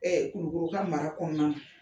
Kulukoro ka mara kɔnɔna na